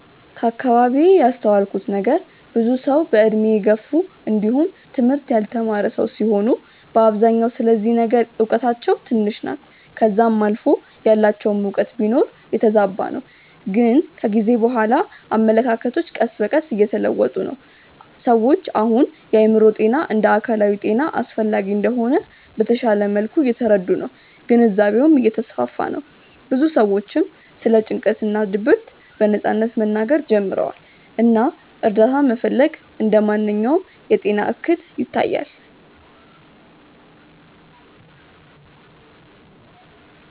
ከአከባቢዬ ያስተዋልኩት ነገር ብዙ ሰዉ በእድሜ የገፉ እንዲውም ትምህርት ያልተማረ ሰዉ ሲሆኑ በአብዛኛው ስለዚህ ነገር እውቀታቸው ትንሽ ናት ከዛም አልፎ ያላቸውም እውቀት ቢኖር የተዛባ ነው ግን ከጊዜ በኋላ አመለካከቶች ቀስ በቀስ እየተለወጡ ነው። ሰዎች አሁን የአእምሮ ጤና እንደ አካላዊ ጤና አስፈላጊ እንደሆነ በተሻለ መልኩ እየተረዱ ነው ግንዛቤውም እየተስፋፋ ነው ብዙ ሰዎችም ስለ ጭንቀት እና ድብርት በነጻነት መናገር ጀምረዋል እና እርዳታ መፈለግ እንደ ማንኛውም የጤና እክል ይታያል።